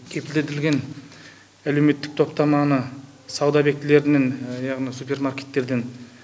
кепілдендірілген әлеуметтік топтаманы сауда объектілерінен яғни супермаркеттерден